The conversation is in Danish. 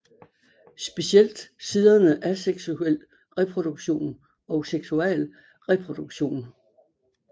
Specielt siderne Asexual Reproduction og Sexual Reproduction